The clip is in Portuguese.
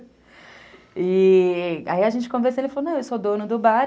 E... Aí a gente conversou e ele falou, não, eu sou dono do bar.